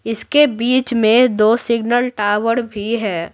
इसके बीच में दो सिग्नल टावर भी है।